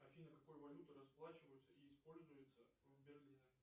афина какой валютой расплачиваются и используются в берлине